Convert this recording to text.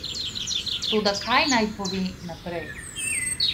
Toda, kaj naj pove naprej?